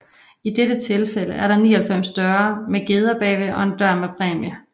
I dette tilfælde er der 99 døre med geder bagved og en dør med en præmie